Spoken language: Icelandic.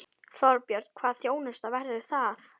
Þorbjörn: Hvaða þjónusta verður það?